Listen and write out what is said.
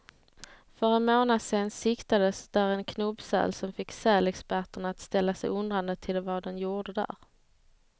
För en månad sedan siktades där en knubbsäl, som fick sälexperterna att ställa sig undrande till vad den gjorde där.